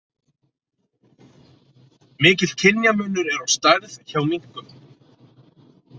Mikill kynjamunur er á stærð hjá minkum.